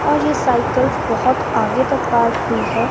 और ये साइकल्स बहोत आगे तक पार्क हुई है।